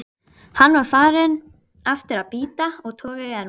Hann var aftur farinn að bíta og toga í ermina.